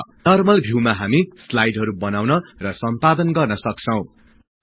normal भिउमा हामी स्लाईडहरु बनाउन र सम्पादन गर्न सक्छौं